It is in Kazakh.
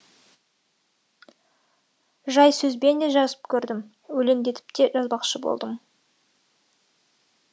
жай сөзбен де жазып көрдім өлеңдетіп те жазбақшы болдым